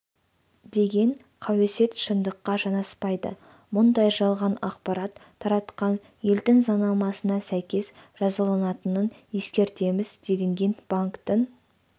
деген қауесет шындыққа жанаспайды мұндай жалған ақпарат таратқандар елдің заңнамасына сәйкес жазаланатынын ескертеміз делінген банктің